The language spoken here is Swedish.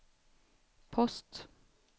post